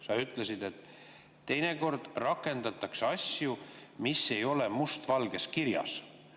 Sa ütlesid, et teinekord rakendatakse asju, mis ei ole must valgel kirjas.